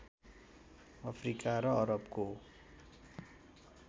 Africa र अरबको